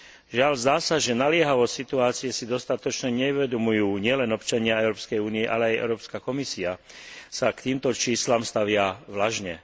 Žiaľ, zdá sa, že naliehavosť situácie si dostatočne neuvedomujú nielen občania Európskej únie, ale aj Európska Komisia sa k týmto číslam stavia vlažne.